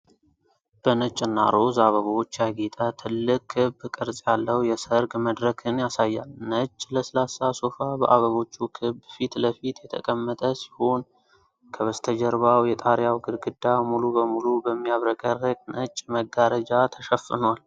በነጭና ሮዝ አበቦች ያጌጠ ትልቅ ክብ ቅርጽ ያለው የሠርግ መድረክን ያሳያል። ነጭ ለስላሳ ሶፋ በአበቦቹ ክብ ፊት ለፊት የተቀመጠ ሲሆን፤ ከበስተጀርባው የጣሪያው ግድግዳ ሙሉ በሙሉ በሚያብረቀርቅ ነጭ መጋረጃ ተሸፍኗል።